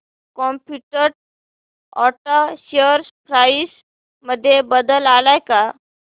competent auto share price मध्ये बदल आलाय का